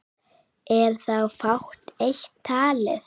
Er þá fátt eitt talið.